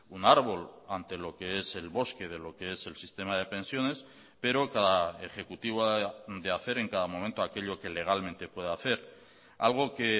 un árbol ante lo que es el bosque de lo que es el sistema de pensiones pero cada ejecutivo de hacer en cada momento aquello que legalmente puede hacer algo que